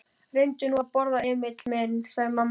Reyndu nú að borða, Emil minn, sagði mamma.